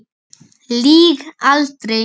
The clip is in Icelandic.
Lýg aldrei.